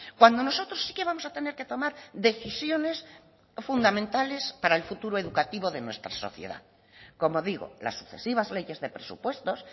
cuando nosotros sí que vamos a tener que tomar decisiones fundamentales para el futuro educativo de nuestra sociedad como digo las sucesivas leyes de presupuestos